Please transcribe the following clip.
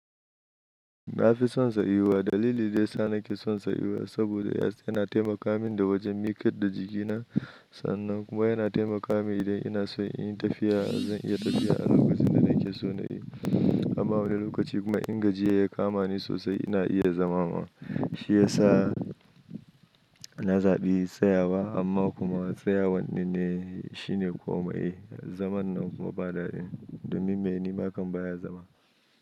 Na fi son tsayuwa. Dalili daya sa na ke son tsayuwa saboda yana taimaka min da wajen miƙa da jikina. Sannan kuma yana taimaka min idan ina so in yi tafiya, zan iya tafiya a lokacin da na ke so na yi. Amma wani lokaci kuma in gajiya ya kama ni sosai ina iya zama ma. Shi ya sa na zaɓi tsayawa amma kuma tsayawan dinne shi ne komai. Zaman nan kuma ba daɗi. Domin mainema kan baya zama.